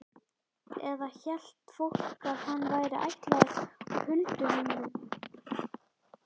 Eða hélt fólk að hann væri ættaður úr hulduheimum?